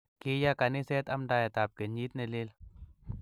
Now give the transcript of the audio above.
Kiyay kaniset amndaet ab kenyit ne lel